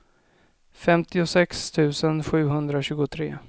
femtiosex tusen sjuhundratjugotre